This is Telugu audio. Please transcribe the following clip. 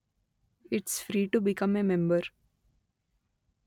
it's free to become a member